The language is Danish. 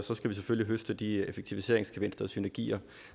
vi selvfølgelig høste de effektiviseringsgevinster og synergier